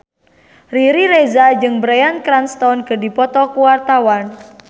Riri Reza jeung Bryan Cranston keur dipoto ku wartawan